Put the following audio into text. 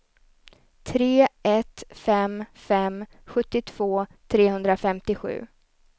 tre ett fem fem sjuttiotvå trehundrafemtiosju